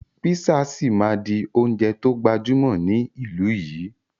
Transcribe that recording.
Písà síí máa di oúnjẹ to gbajúmọ̀ ní ìlú yìí.